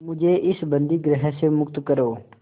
मुझे इस बंदीगृह से मुक्त करो